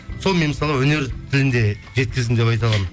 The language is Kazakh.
сол мен мысалға өнер тілінде жеткіздім деп айта аламын